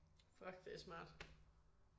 Fuck det er smart